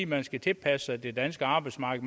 man skal tilpasse sig det danske arbejdsmarked